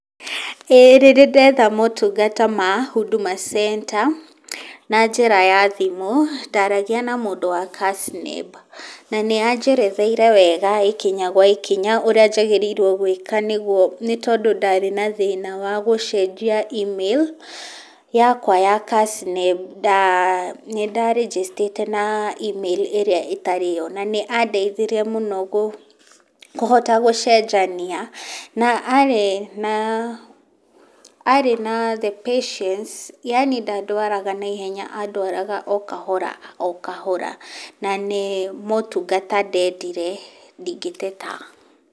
Ĩĩ nĩndĩndetha motungata ma Huduma Centre na njĩra ya thimũ, ndaragia na mũndũ wa Kasneb, na nĩ anjeretheire wega ikinya gwa ikinya ũrĩa njagĩrĩirwo gwĩka nĩguo nĩ tondũ ndarĩ na thĩna wa gũcenjia email yakwa ya Kasneb nda nĩ ndarĩnjĩcitĩte na email ĩrĩa ĩtarĩ yo, na nĩ andeithirie mũno gũ kũhota gũcenjania na arĩ na arĩ na the patience yaani ndandwaraga naihenya andwaraga o kahora o kahora, na nĩ motungata ndendire, ndingĩteta.